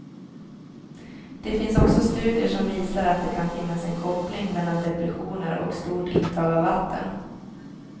Det finns också studier som visar att det kan finnas en koppling mellan depressioner och stort intag av vatten.